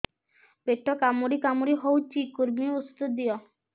ପେଟ କାମୁଡି କାମୁଡି ହଉଚି କୂର୍ମୀ ଔଷଧ ଦିଅ